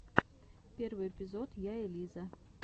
первый эпизод я элиза